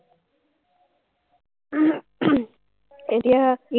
এতিয়া,